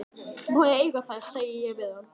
Má ég eiga þær, segi ég við hann.